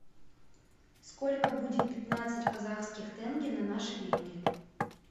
сколько будет пятнадцать казахских тенге на наши деньги